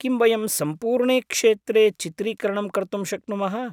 किं वयं सम्पूर्णे क्षेत्रे चित्रीकरणं कर्तुं शक्नुमः?